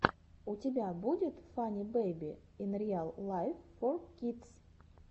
у тебя будет фанни бэйби ин риал лайф фор кидс